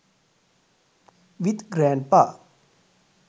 with grandpa